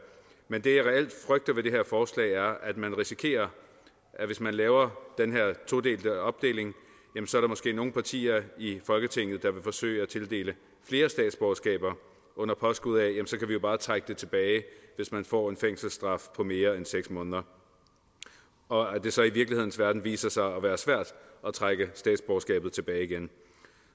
men det jeg reelt frygter ved det her forslag er at man risikerer hvis man laver den her todelte opdeling at der måske er nogle partier i folketinget der vil forsøge at tildele flere statsborgerskaber under påskud af at så kan vi bare trække det tilbage hvis man får en fængselsstraf på mere end seks måneder og at det så i virkelighedens verden viser sig at være svært at trække statsborgerskabet tilbage igen